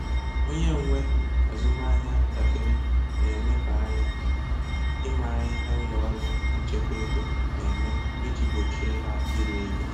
Onye nwe azụmahịa ntakịrị na-elebanye ányá ịmara ihe ụlọ ọrụ nchekwa ego na-eme iji gbochie ha iri ego.